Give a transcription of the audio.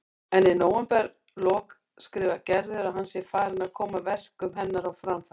En í nóvemberlok skrifar Gerður að hann sé farinn að koma verkum hennar á framfæri.